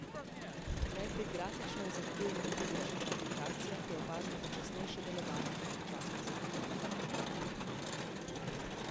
Le pri grafično zahtevnih igrah in aplikacijah je opazno počasnejše delovanje in občasno zatikanje.